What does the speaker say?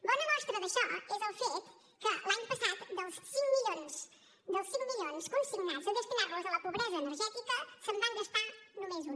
bona mostra d’això és el fet que l’any passat dels cinc milions dels cinc milions consignats a destinar los a la pobresa energètica se’n van gastar només un